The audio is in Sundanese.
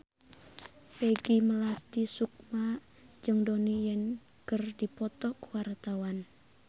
Peggy Melati Sukma jeung Donnie Yan keur dipoto ku wartawan